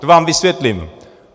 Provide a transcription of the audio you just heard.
To vám vysvětlím.